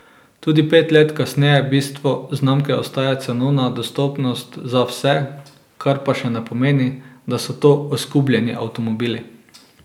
Tudi pet let kasneje bistvo znamke ostaja cenovna dostopnost za vse, kar pa še ne pomeni, da so to oskubljeni avtomobili.